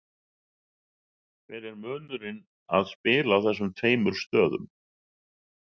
Hver er munurinn að spila á þessum tveimur stöðum?